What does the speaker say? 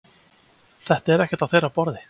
Þetta er ekkert á þeirra borði